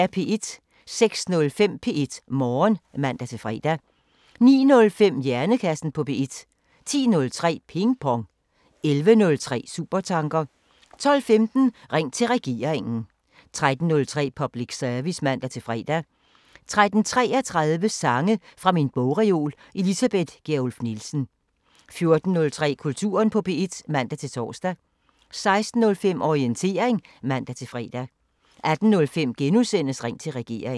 06:05: P1 Morgen (man-fre) 09:05: Hjernekassen på P1 10:03: Ping Pong 11:03: Supertanker 12:15: Ring til Regeringen 13:03: Public Service (man-fre) 13:33: Sange fra min bogreol – Elisabeth Gjerluff Nielsen 14:03: Kulturen på P1 (man-tor) 16:05: Orientering (man-fre) 18:05: Ring til Regeringen *